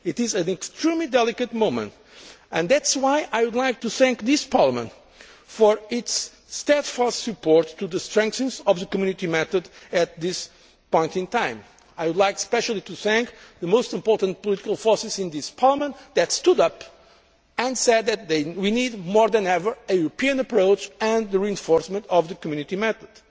It is an extremely delicate moment, and that is why I would like to thank Parliament for its steadfast support for the strengthening of the Community method at this point in time. I would like especially to thank the most important political forces in Parliament that stood up and said that, more than ever, we need a European approach and the reinforcement of the Community method.